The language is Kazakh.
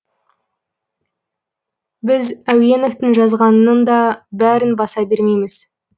біз әуеновтың жазғанының да бәрін баса бермейміз